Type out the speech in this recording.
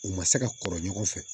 U ma se ka kɔrɔ ɲɔgɔn fɛ